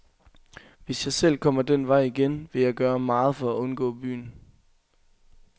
Hvis jeg selv kommer den vej igen, vil jeg gøre meget for at undgå byen.